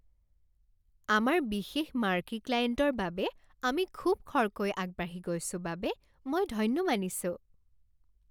আমাৰ বিশেষ মাৰ্কী ক্লায়েণ্টৰ বাবে আমি খুব খৰকৈ আগবাঢ়ি গৈছো বাবে মই ধন্য মানিছোঁ।